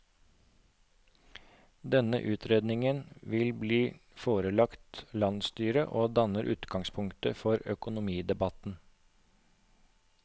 Denne utredningen vil bli forelagt landsstyret og danne utgangspunkt for økonomidebatten.